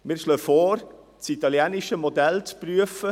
Wir schlagen vor, das italienische Modell «otto per mille» zu prüfen.